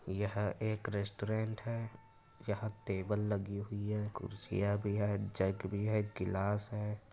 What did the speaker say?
यह एक रेस्टोरेंट है। यह टेबल लगी हुई है कुर्सियां भी हैं जग भी है गिलास है।